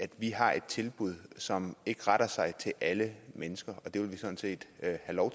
vi har et tilbud som ikke retter sig til alle mennesker og det vil vi sådan set have lov